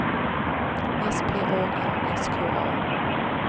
S P A N S K A